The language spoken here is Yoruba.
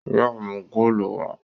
Yóò mú góòlù wá!